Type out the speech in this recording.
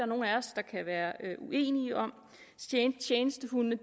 nogen af os kan være uenige om tjenestehundene